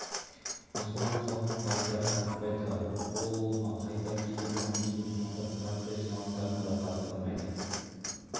мұсылман қауымын партияға тартпайды ол ол ма қайта кейбір коммунист мұсылмандарды партия жиналыстарына да қатыстырмайды